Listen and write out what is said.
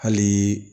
Hali